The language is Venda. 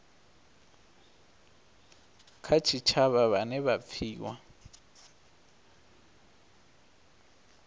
kha tshitshavha vhane vha pfiwa